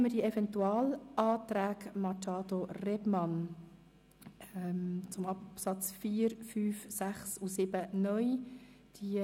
Wir kommen jetzt zu den Eventualanträgen Machado Rebmann zu den Absätzen 4 (neu), 5 (neu), 6 (neu) und 7 (neu).